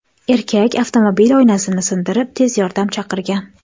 Erkak avtomobil oynasini sindirib, tez yordam chaqirgan.